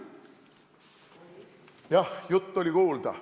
Jah, jutt oli kuulda.